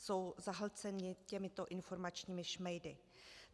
Jsou zahlceni těmito informačními šmejdy.